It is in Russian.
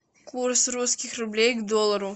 курс русских рублей к доллару